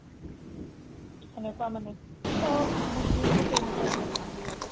এনেকুৱা মানে চ'ব মোচলিম থাকে এনেকুৱা বিলাকৰ নাম বিলাকৰ